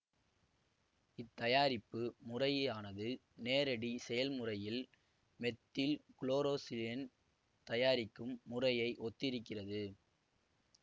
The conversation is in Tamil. இத்தயாரிப்பு முறையானது நேரடிச் செயல்முறையில் மெத்தில் குளோரோசிலேன் தயாரிக்கும் முறையை ஒத்திருக்கிறது